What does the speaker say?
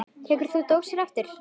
Tekur þú svo dósina aftur?